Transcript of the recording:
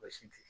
Baasi tɛ